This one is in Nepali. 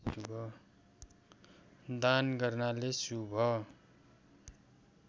दान गर्नाले शुभ